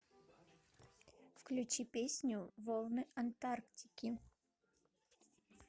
включи песню волны антарктики